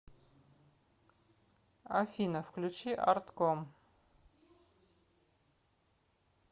афина включи артком